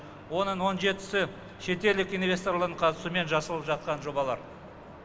оның он жетісі шетелдік инвесторлардың қатысуымен жасалып жатқан жобалар